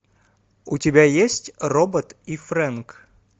у тебя есть робот и фрэнк